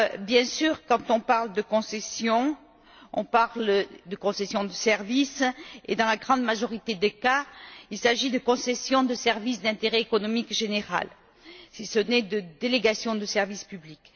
Bien sûr, quand on parle de concession, on parle de concession de services et dans la grande majorité des cas, il s'agit de la concession de services d'intérêt économique général si ce n'est de la délégation de service public.